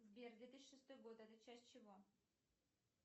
сбер две тысячи шестой год это часть чего